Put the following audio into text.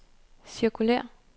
cirkulér